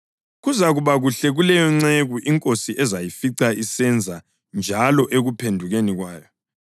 Kuzakuba kuhle kuleyo nceku inkosi ezayifica isenza njalo ekuphendukeni kwayo.